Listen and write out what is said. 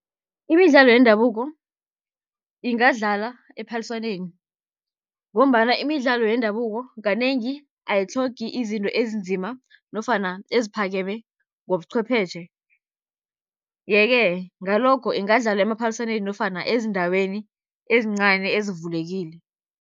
Imidlalo yendabuko ingadlalwa ephaliswaneni, ngombana imidlalo yendabuko kanengi ayitlhogi izinto ezinzima nofana eziphakeme ngobuchwepheshe. Ye-ke ngalokho ingadlalwa emaphaliswaneni nofana ezindaweni ezincani ezivulekile.